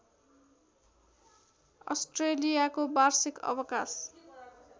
अस्ट्रेलियाको वार्षिक अवकाश